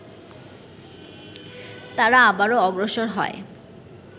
তারা আবারো অগ্রসর হয়